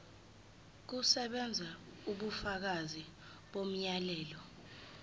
kusebenza ubufakazi bomyalelo